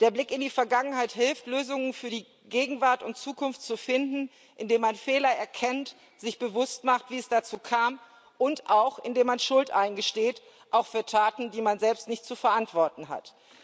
Der Blick in die Vergangenheit hilft, Lösungen für die Gegenwart und Zukunft zu finden, indem man Fehler erkennt, sich bewusst macht, wie es dazu kam, und auch indem man Schuld eingesteht, auch für Taten, die man selbst nicht zu verantworten hat.